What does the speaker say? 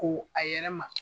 Ko a yɛrɛ ma.